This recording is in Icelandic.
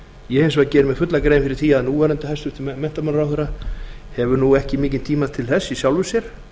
ég hins vegar geri mér fulla grein fyrir því að núv hæstvirtur menntamálaráðherra hefur ekki mikinn tíma til þess í sjálfu sér